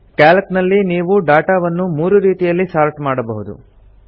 Calc ನಲ್ಲಿ ನೀವು data ವನ್ನು ಮೂರು ರೀತಿಯಲ್ಲಿ ಸಾರ್ಟ್ ಮಾಡಬಹುದು